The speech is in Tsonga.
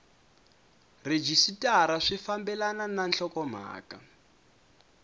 rhejisitara swi fambelana na nhlokomhaka